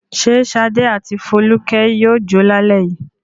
Ṣé Ṣadé àti Folúkẹ́ yóò jó lálẹ́ yìí?